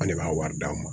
An ne b'a wari d'a ma